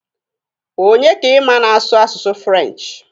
Onye ka ị ma na-asụ asụsụ furenchi?